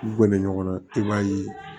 Gunnen ɲɔgɔn na i b'a ye